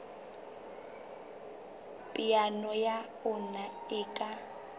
peo ya ona e ka